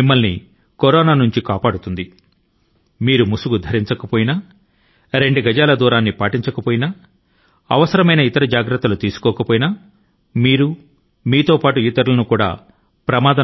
ఎప్పటికీ గుర్తు పెట్టుకోండి మీరు మాస్క్ ను ధరించకపోయినట్లయితే ఒక మనిషి కి మరొక మనిషి కి నడుమ న రెండు గజాత సామాజిక దూరం తాలూకు నియమాల ను పాటించకపోతే లేదా ఇతర ముందుజాగ్రత్తల ను తీసుకోకపోతే మీరు మీ తో పాటుగా ఇతరుల